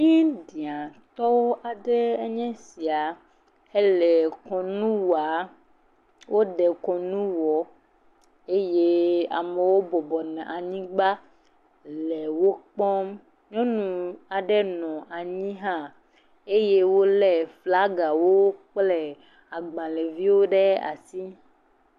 Indiatɔwo aɖee nye esia, hele kɔnu waa, wode kɔnu wɔ eye amewo bɔbɔnɔ anyigba le wo kpɔm, nyɔnu aɖe nɔ anyi hã eye wole flagawo kple agbalẽviwo ɖe asi.